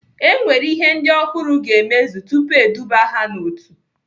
E nwere ihe ndị ọhụrụ ga-emezu tupu eduba ha n'otu.